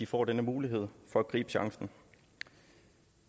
får denne mulighed for at gribe chancen